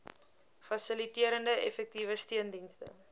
fasiliterende effektiewe steundienste